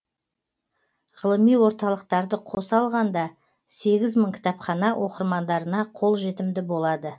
ғылыми орталықтарды қоса алғанда сегіз мың кітапхана оқырмандарына қолжетімді болады